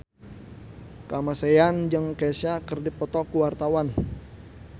Kamasean jeung Kesha keur dipoto ku wartawan